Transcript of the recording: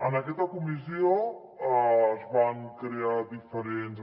en aquesta comissió es van aprovar diferents